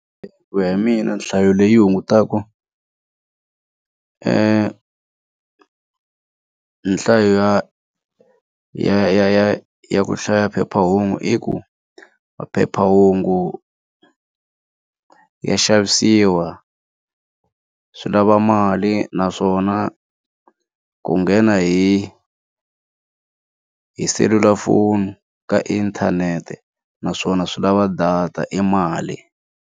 Ku ya mina nhlayo leyi hungutaka nhlayo ya ya ya ya ku hlaya phephahungu i ku phephahungu ya xavisiwa swi lava mali naswona ku nghena hi hi selulafoni ka inthanete naswona swi lava data i mali.